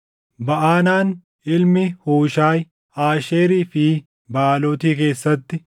Baʼanaan ilmi Huushaayi, Aasheerii fi Baʼaalooti keessatti;